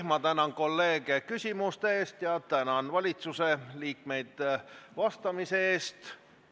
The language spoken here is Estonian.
Ma tänan kolleege küsimuste eest ja tänan valitsusliikmeid vastamise eest!